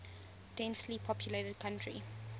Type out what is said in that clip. densely populated country